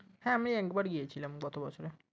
হ্যাঁ আমি একবার গিয়েছিলাম গত বছরে